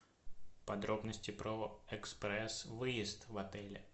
подробности про экспресс выезд в отеле